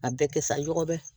A bɛɛ kɛ sa ɲɔgɔn bɛ